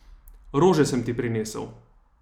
Rože sem ti prinesel.